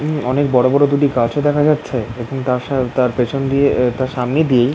হম অনেক বড় বড় দুটি গাছও দেখা যাচ্ছে এবং তার সা তার পিছন দিয়ে এ তার সামনে দিয়েই--